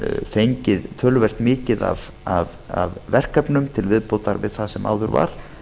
fengið töluvert mikið af verkefnum til viðbótar við það sem áður var